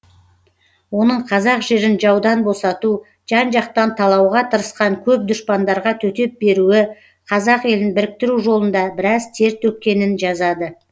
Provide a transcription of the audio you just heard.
оның қазақ жерін жаудан босату жан жақтан талауға тырысқан көп дұшпандарға төтеп беруі қазақ елін біріктіру жолында біраз тер төккенін жазады